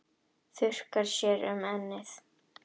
Þurrkar þér um ennið.